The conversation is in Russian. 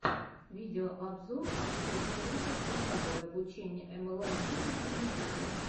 видеообзор артур шолохов пошаговое обучение млм бизнесу в ютюбе